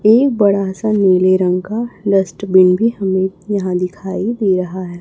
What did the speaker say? एक बड़ा सा नीले रंग का डस्टबिन भी हमें यहां दिखाई दे रहा है।